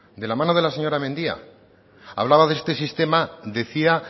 de la mano de la señora mendia hablaba de este sistema decía